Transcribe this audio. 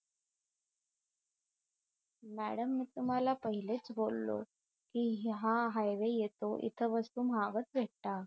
madam मी तुम्हाला पहिलेच बोललो कि हा हायवे येतो इथे वस्तू महागच भेटतात